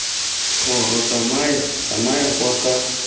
kgoro tsamaya tsamaya kwa ga